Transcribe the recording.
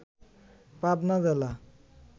পাবনা জেলা